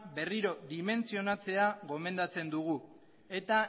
berriro dimentsionatzea gomendatzen dugu eta